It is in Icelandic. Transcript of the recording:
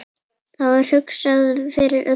Það var hugsað fyrir öllu.